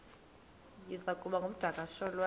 iza kuba ngumdakasholwana